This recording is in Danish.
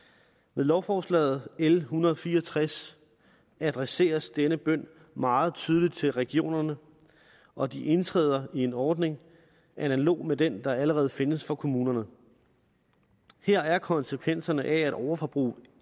med lovforslag l en hundrede og fire og tres adresseres denne bøn meget tydeligt til regionerne og de indtræder i en ordning analog med den der allerede findes for kommunerne her er konsekvenserne at overforbrug